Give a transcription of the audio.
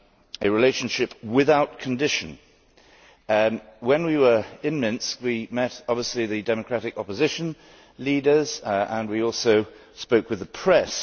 a relationship without condition. When we were in Minsk we obviously met the democratic opposition leaders and we also spoke with the press.